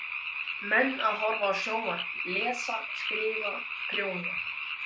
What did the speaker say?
Menn að horfa á sjónvarp, lesa, skrifa, prjóna.